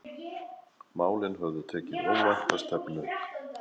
Málin höfðu tekið óvænta stefnu.